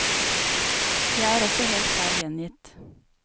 Jeg er også helt feil gjengitt.